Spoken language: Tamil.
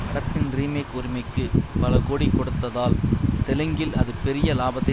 படத்தின் ரீமேக் உரிமைக்கு பலகோடி கொடுத்ததால் தெலுங்கில் அது பெரிய லாபத்தை